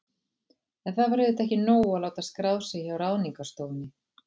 En það var auðvitað ekki nóg að láta skrá sig hjá Ráðningarstofunni.